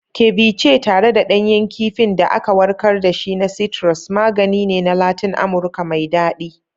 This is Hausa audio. Ceviche, tare da ɗanyen kifin da aka warkar da shi na citrus, magani ne na Latin Amurka mai daɗi.